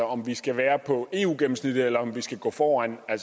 om vi skal være på eu gennemsnittet eller om vi skal gå foran har